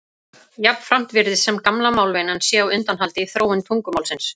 Jafnframt virðist sem gamla málvenjan sé á undanhaldi í þróun tungumálsins.